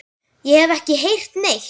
Ég hef ekki heyrt neitt.